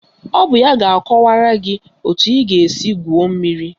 Ọ bụ ya ga-akọwara gị etu ị ga-esi gwuo mmiri